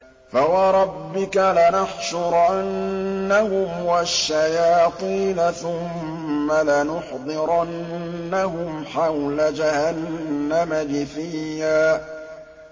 فَوَرَبِّكَ لَنَحْشُرَنَّهُمْ وَالشَّيَاطِينَ ثُمَّ لَنُحْضِرَنَّهُمْ حَوْلَ جَهَنَّمَ جِثِيًّا